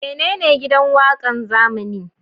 Menene Gidan Waƙan zamani?